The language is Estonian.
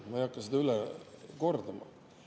Ma ei hakka seda üle kordama.